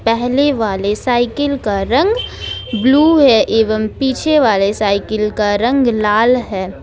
पहले वाली साइकिल का रंग ब्लू है एवं पीछे वाले साइकिल का रंग लाल है।